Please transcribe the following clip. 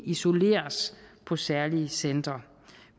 isoleres på særlige centre